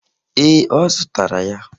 Ee, ọ zụtara ya.